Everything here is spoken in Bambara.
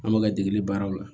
An bɛ ka degeli baaraw la